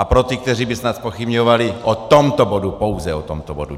A pro ty, kteří by snad zpochybňovali - o tomto bodu, pouze o tomto bodu.